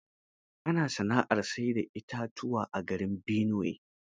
Ana sana'ar sai da itatuwa garin Binuwe.